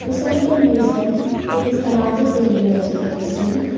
beside the museum there is another building as we can see.